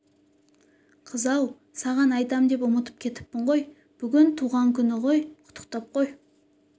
қыз-ау саған айтам деп ұмытып кетіппін ғой бүгін туған күні құттықтап қой